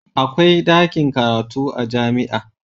Akwai dakin karatu a jami'a.